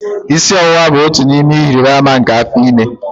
Isi ọwụwa bụ otu n'ime ihe ịrịba ama nke afọ ime